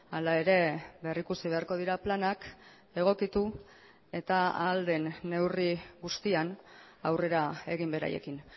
hala ere berrikusi beharko dira planak egokitu eta ahal den neurri guztian aurrera egin beraiekin